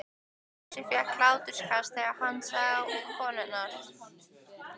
Fúsi fékk hláturskast þegar hann sá konurnar.